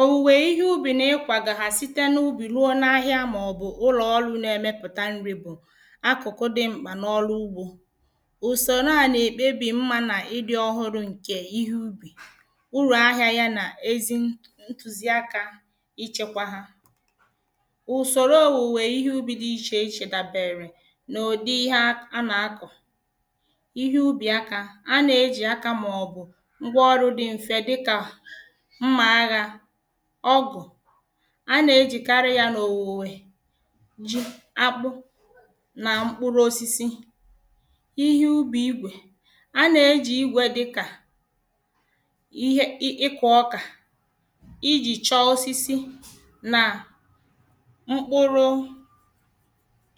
òwuwè ihẹ ubi nà ikwàgà ha site n’ubi ruo n’ahịa màọbụ̀ ulọ ọrụ nà-ẹ̀mẹ̀pụta nri bụ̀ akụkụ dị mkpà n’ọrụ ugbo. ùsòrò a nà-èkpebi mma nà ịdị ọhụrụ ǹkè ihẹ ubi, urù ahịȧ ya nà ezi ntu ǹtuziaka ichèkwa ha. ùsòrò òwuwè ihẹ ubi dị ichè ichè dàbèrè n’ụ̀dị ihẹ akọ̀, ìhe ànà àkọ. ihẹ ubi akȧ; a nà-eji akȧ màọbụ̀ ngwaọrụ dị m̀fè dịkà; mmȧ aghà, ọgụ. A nà-ejìkarị yȧ n’òwùwè ji, akpụ nà mkpụrụ osisi. Ihe ubì igwè; abnà-ejì igwè dịkà; ihẹ, ịkụ ọkà iji chọọ osisi nà mkpụrụ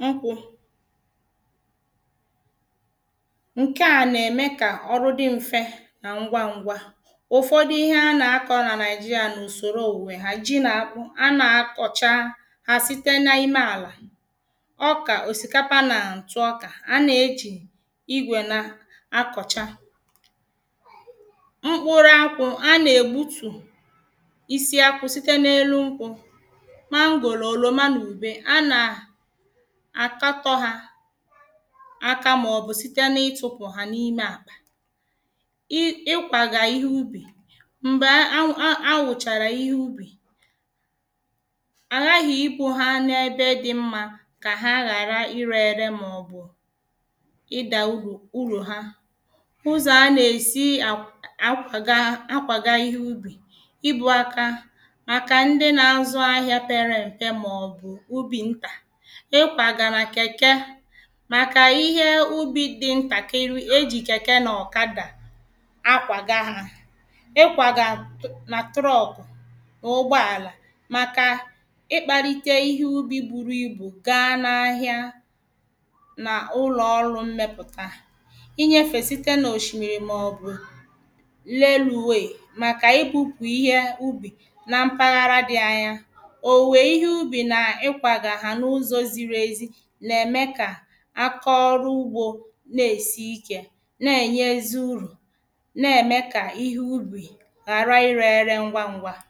nkwụ. Nkè a nà-ème kà ọrụ di mfe nà ngwa ngwa. Ufọdụ ìhe ànà àkọ na Nàịjirịa na usòro òwùwè ha. Ji nà Akpụ; anà-akọ̀cha ha site n’ime àlà. ọkà, osikapa na ntụ ọkà; anà-ejì igwè na-akọ̀cha. mkpụrụ akwụ̀; anà-egbutù isiakwụ̀ site n’elu nkwụ̀. Mangòrò, òlòma, n’ubė; anà akatọ ha aka màọbụ̀ site n’itupu ha n’ime àkpà. Ị i kwàga yà n'ubi; mgbè àwụchara ìhe ubì, àhàghi ibu ha n’ebe dị mmà kà ha ghàra irė-ėrė màọ̀bụ̀ ịdà urù ụrụ ha. ụzọ̀ anà-èsi akwụ akwàga akwàga ihe ubì; ibu̇ aka, màkà ndị na-azụ ahịa pere m̀pe màọ̀bụ̀ ubi̇ ntà. Ị kwàgà nà kẹ̀kẹ̀, màkà ihe ubi̇ dị ntà nkirị eji̇ kẹ̀kẹ nà ọkà dà akwàga hȧ. Ị kwàgà nà truck na ụgbọàlà, màkà ịkpalite ihe ubi buru ibu̇ gaa na ahịa, n’ụlọ̀ ọrụ mmepùta, inyefe site n’oshimiri màọbụ̀ Railway, màkà ibu̇pụ̀ ihe ubi̇ na mpaghara dị anya. òwùwè ihe ubi̇ nà ikwàgà ha n’ụzọ̀ ziri ezi nà-ème kà akȧ ọrụ ugbȯ na-èsi ike, nà-ènye ezi urù, na-ème kà ihe ubi̇ ghàrà ire ere ngwa ngwa.